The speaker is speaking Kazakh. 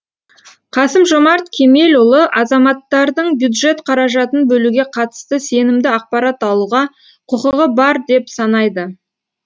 қасым жомарт кемелұлы азаматтардың бюджет қаражатын бөлуге қатысты сенімді ақпарат алуға құқығы бар деп санайды